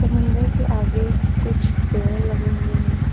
समुंदर के आगे कुछ पेड़ लगे हुए हैं।